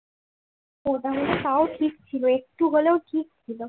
ওটা হলে তাও ঠিক ছিল একটু হলেও ঠিক ছিল